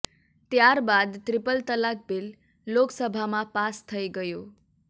ત્યાર બાદ ત્રિપલ તલાક બિલ લોકસભામાં પાસ થઇ ગયું